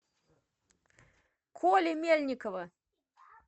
коли мельникова